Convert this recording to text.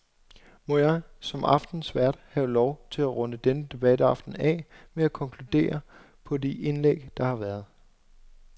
Må jeg, som aftenens vært, have lov at runde denne debataften af med at konkludere på de indlæg, der har været.